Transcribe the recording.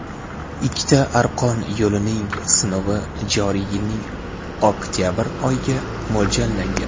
Ikkita arqon yo‘lning sinovi joriy yilning oktabr oyiga mo‘ljallangan.